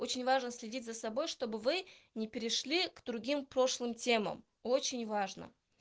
очень важно следить за собой чтобы вы не перешли к другим прошлым темам очень важно